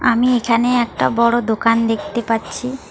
আমি এখানে একটা বড় দোকান দেখতে পাচ্ছি।